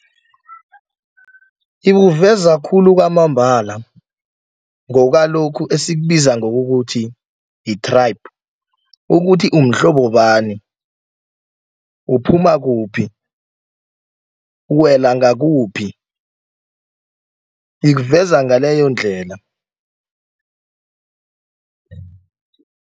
Ikuveza khulu kwamambala ngokwalokhu esikubiza ngokukuthi yi-tribe, ukuthi umhlobo bani, uphuma kuphi, uwela ngakuphi ikuveza ngaleyo ndlela.